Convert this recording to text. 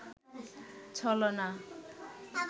ছলনা